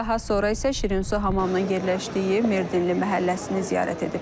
Daha sonra isə Şirinsu hamamının yerləşdiyi Merdinli məhəlləsini ziyarət ediblər.